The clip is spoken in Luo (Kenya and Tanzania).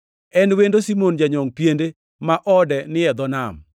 En wendo Simon ma janyongʼ piende ma ode ni e dho nam.”